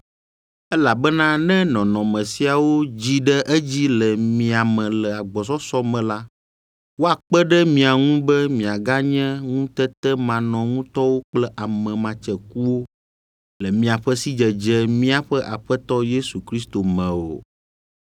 Elabena ne nɔnɔme siawo dzi ɖe edzi le mia me le agbɔsɔsɔ me la, woakpe ɖe mia ŋu be miaganye ŋutetemanɔŋutɔwo kple ame matsekuwo le miaƒe sidzedze míaƒe Aƒetɔ Yesu Kristo me o.